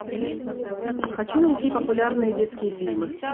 хочу найти популярные детские фильмы